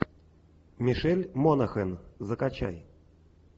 мишель монахэн закачай